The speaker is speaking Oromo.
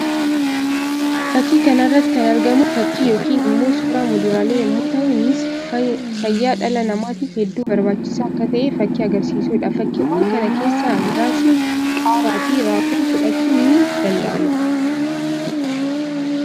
Fakkii kana irratti kan argamu fakkii yookiin immoo suuraa muduraalee yammuu tahu; innis fayyaa dhala namatiif hedduu barbachisaa akka tahe fakkii agarsiisuu dha. Fakkiiwwan kana keessaa muraasni qaaraa fi raafuu fudhachuun ni danda'ama.